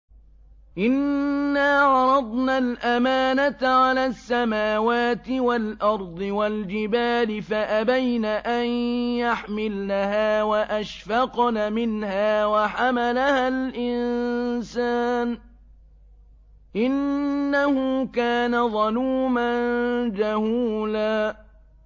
إِنَّا عَرَضْنَا الْأَمَانَةَ عَلَى السَّمَاوَاتِ وَالْأَرْضِ وَالْجِبَالِ فَأَبَيْنَ أَن يَحْمِلْنَهَا وَأَشْفَقْنَ مِنْهَا وَحَمَلَهَا الْإِنسَانُ ۖ إِنَّهُ كَانَ ظَلُومًا جَهُولًا